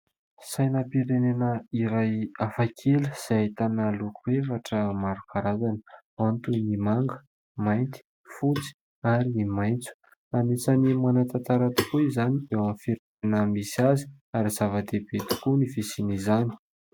Sainam-pirenena iray hafakely izay ahitana loko efatra maro karazana : ao ny toy ny manga, mainty, fotsy ary ny maintso. Anisan'ny manan-tantara tokoa izany eo amin'ny firenena misy azy ary zava-dehibe tokoa ny fisian'izany.